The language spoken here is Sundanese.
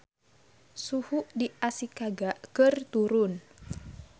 Suhu di Ashikaga keur turun